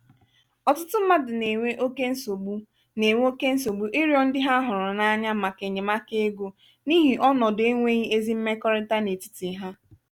ọtụtụ mmadụ na-enwe oke nsogbu na-enwe oke nsogbu ịrịọ ndị ha hụrụ n'anya màkà enyemaka ego n'ihi ọnọdụ enweghị ezi mmekọrịta n'etiti ha.